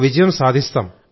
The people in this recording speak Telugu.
విజయం సాధిస్తాం